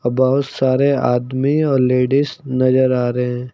बहुत सारे आदमी और लेडिस नजर आ रहे हैं।